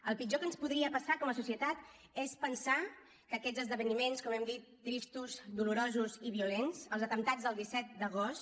el pitjor que ens podria passar com a societat és pensar que aquests esdeveniments com hem dit tristos dolorosos i violents els atemptats del disset d’agost